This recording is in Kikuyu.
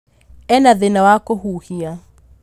Ena thĩna wa kũhuhia